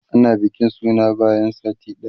ana bikin suna bayan sati ɗaya